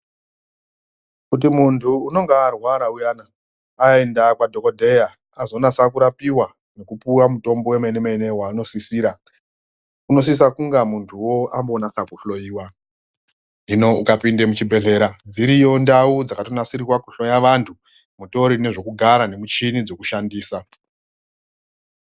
Kuti muntu unenge arwara uyana aenda kwadhokodheya azonasa kurapiwa nekupuwa mutombo wemene mene waanosisira unosisa kunge muntuwo ambo nasa kuhloiwa hino ukapinde muchibhedhlera dziriyo ndau dzakatonasirirwa kuhloye vantu mutori nesvekugara muchini dzekushandisa.